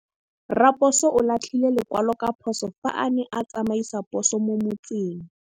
Raposo o latlhie lekwalô ka phosô fa a ne a tsamaisa poso mo motseng.